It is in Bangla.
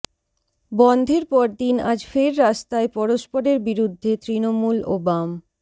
বন্ধের পরদিন আজ ফের রাস্তায় পরস্পরের বিরুদ্ধে তৃণমূল ও বাম